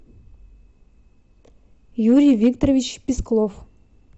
юрий викторович песклов